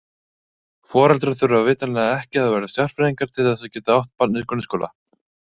Foreldrar þurfa vitanlega ekki að vera sérfræðingar til þess að geta átt barn í grunnskóla.